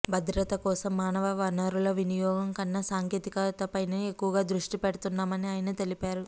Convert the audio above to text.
భద్రత కోసం మానవవనరుల వినియోగం కన్నా సాంకేతికతపైనే ఎక్కువగా దృష్టి పెడుతున్నామని ఆయన తెలిపారు